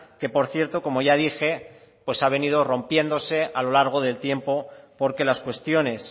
que por cierto como ya dije ha venido rompiéndose a lo largo del tiempo porque las cuestiones